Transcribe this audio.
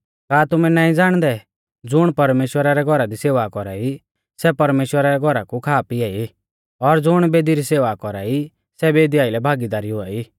का तुमै नाईं ज़ाणदै ज़ुण परमेश्‍वरा रै घौरा दी सेवा कौरा ई सै परमेश्‍वरा रै घौरा कु खा पिया ई और ज़ुण बेदी री सेवा कौरा ई सै बेदी आइलै भागीदारी हुआई